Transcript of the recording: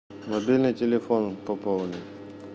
мобильный телефон пополнить